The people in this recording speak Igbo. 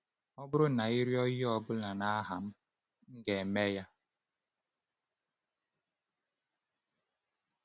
“Ọ bụrụ na ị rịọ ihe ọ bụla n’aha m, m ga-eme ya.”